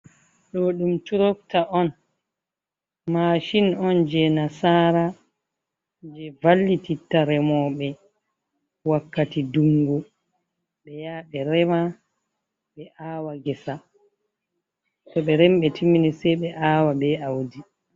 Ɗo ɗum turotta on, mashin on je nasara je vallitittare remoɓe wakkati dungu, ɓe yaha ɓe rema ɓe awa ngesa to ɓe remi ɓe timmini se ɓe awa ɓe audi.